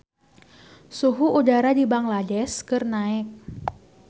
Suhu udara di Bangladesh keur naek